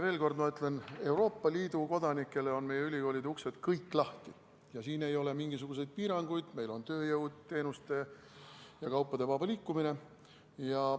Veel kord: Euroopa Liidu kodanikele on meie ülikoolide uksed kõik lahti ja siin ei ole mingisuguseid piiranguid, meil on tööjõu, teenuste ja kaupade vaba liikumine.